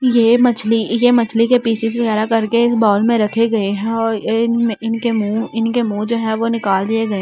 ये मछली ये मछली के पीसेस वगैरह करके इस बाउल में रखे गए हैं और इनके मुंह इनके मुंह जो है वो निकाल दिए गए हैं।